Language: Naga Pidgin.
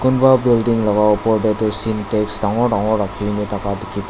kunba building laka opor tae toh sintex dangor dangor rakhi kaena thaka dikhi.